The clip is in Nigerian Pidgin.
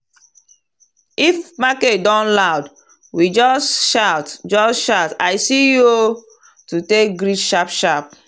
if market don loud we just shout just shout “i see you o” to take greet sharp-sharp.